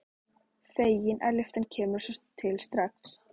Fegin að lyftan kemur svo til strax.